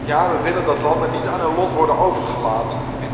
Maar we willen ook dat landen niet aan hun lot worden overgelaten.